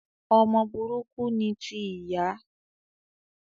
Ọmọ burúkú ni ti ìyá